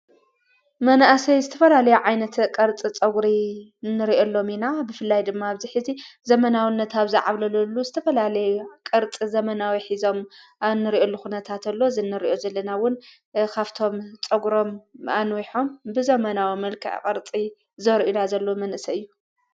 መንእሰይ ዝተፈላለይ ዓይነቲ ቐርጽ ጸጕሪ እንርእ ሎሚ ኢና ብፍላይ ድማ ኣብዚኂዚ ዘመናዊ ነታ ኣብዛዓብለለሉ ዝተፈላለይ ቕርጽ ዘመናዊ ኂዞም ኣንርዩ ሉ ኹነታ እንተሎ ዝንርእዩ ዘለናውን ኻፍቶም ጸጕሮም ኣንውሖም ብዘመናዊ መልከ ቐርጺ ዘርኢና ዘሎ መንሰ እዩ።